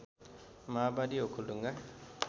माओवादी ओखलढुङ्गा